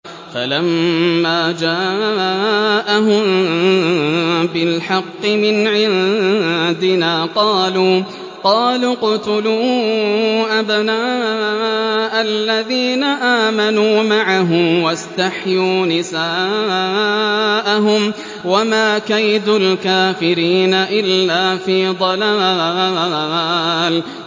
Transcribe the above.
فَلَمَّا جَاءَهُم بِالْحَقِّ مِنْ عِندِنَا قَالُوا اقْتُلُوا أَبْنَاءَ الَّذِينَ آمَنُوا مَعَهُ وَاسْتَحْيُوا نِسَاءَهُمْ ۚ وَمَا كَيْدُ الْكَافِرِينَ إِلَّا فِي ضَلَالٍ